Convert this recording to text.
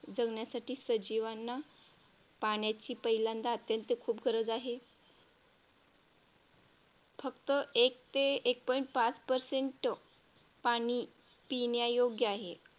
जगण्यासाठी सजीवांना पाण्याची पहिल्यांदा अत्यंत खूप गरज आहे फक्त एक ते एक Point पाच Percent पाणी पिण्यायोग्य आहे.